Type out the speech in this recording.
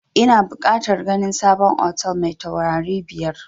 Ina bukatar ganin sabon hotel mai taurari biyar